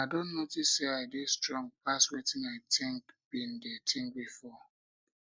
i don notice say i dey strong um pass wetin i think been dey think um before